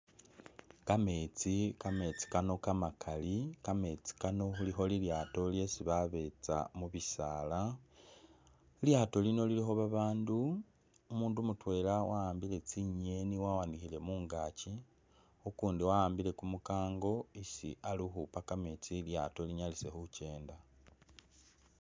Kametsi ,kamesti Kano kamakali kamesti kano khulikho lilyato lyesi babetsa mubisala lilyato lino lilikho babandu omundu mutwela wa’ambile tsinyeni wawanikhile mungakyi ukundi wa’ambile kumukango isi ali ukhupa kamesti ilyato linyalise khukyenda.